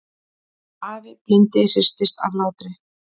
Afi blindi hristist af hlátri.